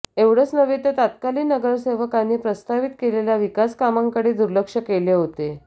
एवढच नव्हे तर तत्कालीन नगरसेवकांनी प्रस्तावित केलेल्या विकासकामांकडे दुर्लक्ष केले होते